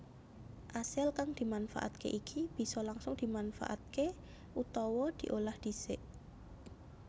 Asil kang dimanfaatke iki bisa langsung dimanfaatké utawa diolah dhisik